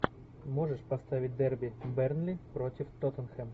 можешь поставить дерби бернли против тоттенхэм